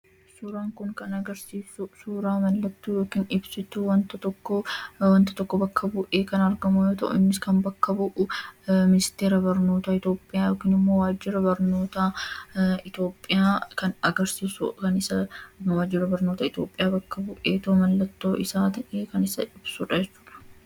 Suuraan kun kan agarsiisu suura ibsituu yookiin mallattoo wanta tokko bakka bu'ee kan argamu yoo ta'u, innis bakka bu'ee Ministeera Barnoota Itoophiyaa ta'uusaa kan agarsiisudha. Mallattoo isaa ta'ees ibsa.